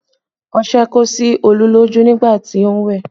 Ọṣẹ kó sí Olú lójú nígbà tí ó ń wẹ̀